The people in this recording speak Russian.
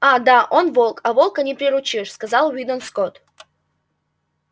а да он волк а волка не приручишь сказал уидон скотт